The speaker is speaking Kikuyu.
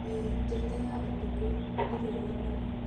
ĩĩ, "Njata ya ũtukũ" nĩ rwega mũno.